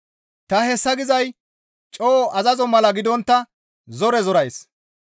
Ta hessa gizay coo azazo mala gidontta zore zorays.